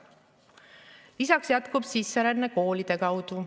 Lisaks jätkub sisseränne koolide kaudu.